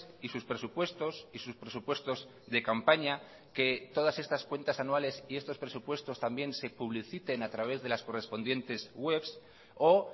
y sus presupuestos y sus presupuestos de campaña que todas estas cuentas anuales y estos presupuestos también se publiciten a través de las correspondientes webs o